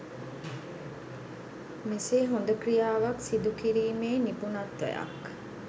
මෙසේ හොඳ ක්‍රියාවක් සිදුකිරීමේ නිපුණත්වයක්